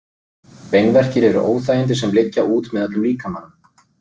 Beinverkir eru óþægindi sem liggja út með öllum líkamanum.